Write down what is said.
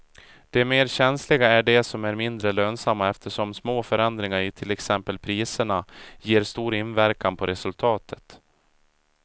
De mer känsliga är de som är mindre lönsamma eftersom små förändringar i till exempel priserna ger stor inverkan på resultatet.